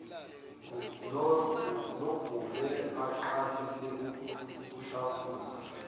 nogule aqalise ukushafuza